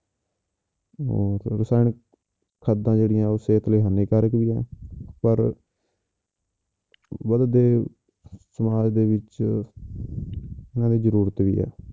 ਉਹ ਤੇ ਰਸਾਇਣਿਕ ਖਾਦਾਂ ਜਿਹੜੀਆਂ ਉਹ ਸਿਹਤ ਲਈ ਹਾਨੀਕਾਰਕ ਵੀ ਆ ਪਰ ਵੱਧਦੇ ਸਮਾਜ ਦੇ ਵਿੱਚ ਉਹਨਾਂ ਦੀ ਜ਼ਰੂਰਤ ਵੀ ਹੈ